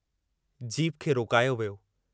Jeep खे रोकायो वियो।